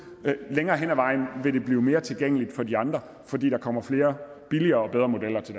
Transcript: længere hen ad vejen vil det blive mere tilgængeligt for de andre fordi der kommer flere billigere og bedre modeller til